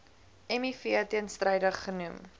miv teenstrydig genoem